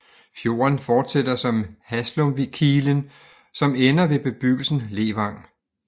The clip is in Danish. Fjorden fortsætter som Haslumkilen som ender ved bebyggelsen Levang